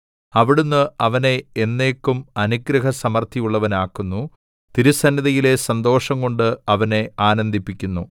അവിടുന്ന് അവനെ എന്നേക്കും അനുഗ്രഹസമൃദ്ധിയുള്ളവനാക്കുന്നു തിരുസന്നിധിയിലെ സന്തോഷംകൊണ്ട് അവനെ ആനന്ദിപ്പിക്കുന്നു